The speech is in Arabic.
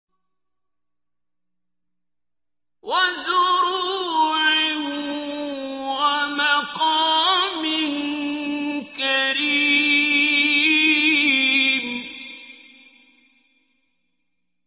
وَزُرُوعٍ وَمَقَامٍ كَرِيمٍ